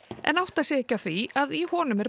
en átta sig ekki á því að í honum er